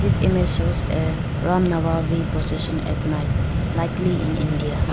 this image shows a run process at night likely in india.